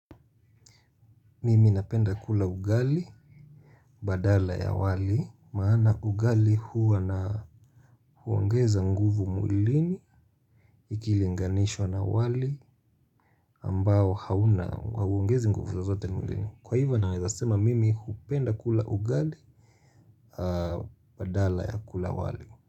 Mimi napenda kula ugali badala ya wali, maana ugali huwa huongeza nguvu mwilini ikilinganish2a na wali ambao hauna, hauongezi nguvu zozote mwilini. Kwa hivyo naweza sema mimi hupenda kula ugali badala ya kula wali.